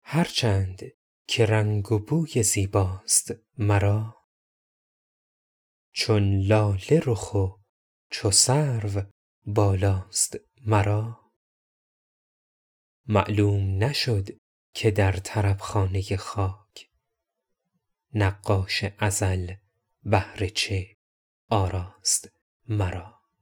هر چند که رنگ و بوی زیباست مرا چون لاله رخ و چو سرو بالاست مرا معلوم نشد که در طرب خانه خاک نقاش ازل بهر چه آراست مرا